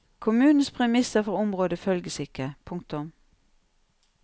Kommunens premisser for området følges ikke. punktum